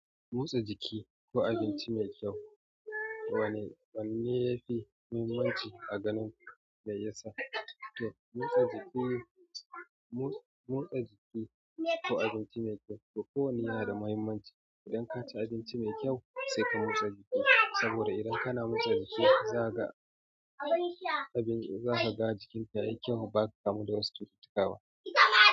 Motsa jiki ko abinci mai kyau, wanne yafi muhimmanci a ganin ka, mai yasa? Motsa jiki ko abinci mai kyau? To kowanne yana da muhimmanci. Idan ka ci abinci mai kyau sai ka motsa jiki, saboda idan kana motsa jiki zaka ga zaka ga jikinka yayi kyau. Ba ka kamu da wasu cututtuka ba.